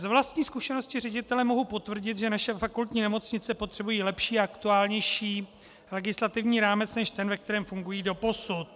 Z vlastní zkušenosti ředitele mohu potvrdit, že naše fakultní nemocnice potřebují lepší a aktuálnější legislativní rámec než ten, ve kterém fungují doposud.